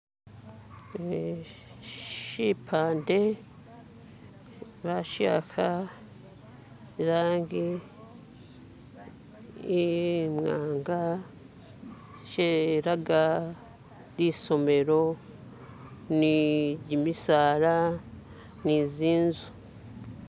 <"skip>" ne shipande bashiakha irangi imwanga shilaga lisomelo ni gyimisaala ni zinzu.